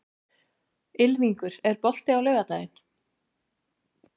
Ylfingur, er bolti á laugardaginn?